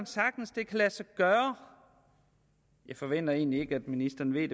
sagtens kan lade sig gøre jeg forventer egentlig ikke at ministeren ved det